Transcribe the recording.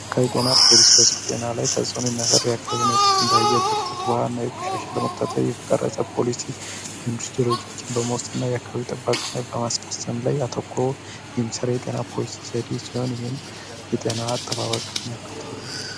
ከዩ ጤና ፖሊስ በሰው ጤና ላይ ተጾኑ የሚያሳድ ያክብኔቶች እንዳያየ ብክለት ውሃ እና የቆሻሻ ለሞቅታትር የተቀረጸ ፖሊሲ እንዱስ ረጆችን በሞስት እና የካዩ ጥባቅ ናይ በማስፈሰም ላይ አተኮ ህምስራ የጤና ፖሊሲ ዘዲ ሲሆን ይህም የጤና አጠባባ ገን ሚያከተታል፡፡